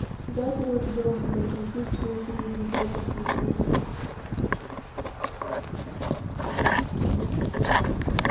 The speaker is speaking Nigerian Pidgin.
Dat road don block, we fit go through the back of the market.